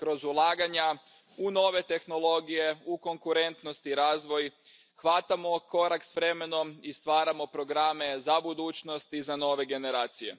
Kroz ulaganja u nove tehnologije, u konkurentnost i razvoj hvatamo korak s vremenom i stvaramo programe za budućnost i za nove generacije.